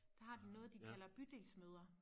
Der har de noget de kalder bydelsmøder